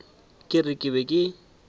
ke re ke be ke